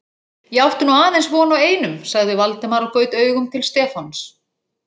Ég átti nú aðeins von á einum sagði Valdimar og gaut augum til Stefáns.